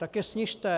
Tak je snižte.